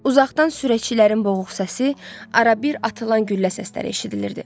Uzaqdan sürəkçilərin boğuq səsi, arabir atılan güllə səsləri eşidilirdi.